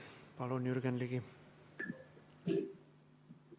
Palun, Jürgen Ligi!